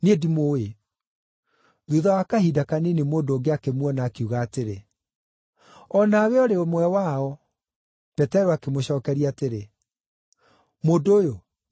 Thuutha wa kahinda kanini mũndũ ũngĩ akĩmuona, akiuga atĩrĩ, “O nawe ũrĩ ũmwe wao.” Petero akĩmũcookeria atĩrĩ, “Mũndũ ũyũ, niĩ ndirĩ wao!”